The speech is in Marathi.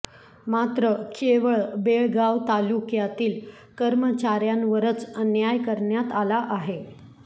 मात्र केवळ बेळगाव तालुक्मयातील कर्मचाऱयांवरच अन्याय करण्यात आला आहे